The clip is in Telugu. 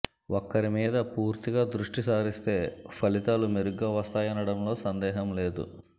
ఒక్కరి మీద పూర్తిగా దృష్టిసారిస్తే ఫలితాలు మెరుగ్గా వస్తాయనడంలో సందేహం లేదు